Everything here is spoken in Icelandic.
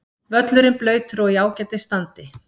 Völlurinn blautur og í ágætis standi.